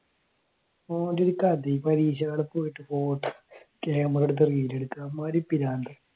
ഓൻ്റെ ഒരു കഥയെ പരീക്ഷ ഹാളിൽ പോയിട്ട് photo camera എടുത്തിട്ട് video എടുക്കുക അമ്മാതിരി പ്രാന്ത്